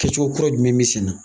Kɛcogo kura jumɛn be sen na?